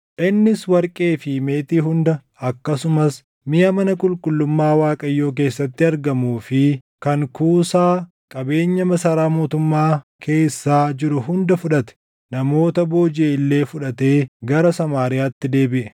Innis warqee fi meetii hunda akkasumas miʼa mana qulqullummaa Waaqayyoo keessatti argamuu fi kan kuusaa qabeenya masaraa mootummaa keessaa jiru hunda fudhate; namoota boojiʼe illee fudhatee gara Samaariyaatti deebiʼe.